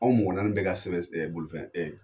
Anw mɔgɔ naani bɛɛ ka sɛbɛn bolifɛn